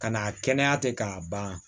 Ka n'a kɛnɛya tɛ k'a ban